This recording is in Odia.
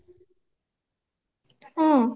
ହଁ